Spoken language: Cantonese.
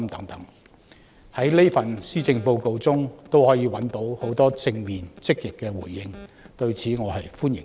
對於我的建議，在這份施政報告中可以找到很多正面和積極的回應，我是歡迎的。